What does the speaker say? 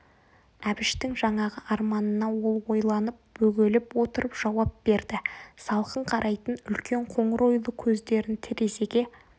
әбіштің жаңағы арманына ол ойланып бөгеліп отырып жауап берді салқын қарайтын үлкен қоңыр ойлы көздерін терезеге